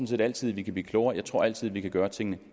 set altid vi kan blive klogere jeg tror altid vi kan gøre tingene